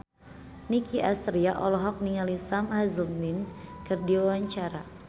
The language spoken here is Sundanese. Nicky Astria olohok ningali Sam Hazeldine keur diwawancara